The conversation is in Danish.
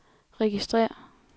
registrér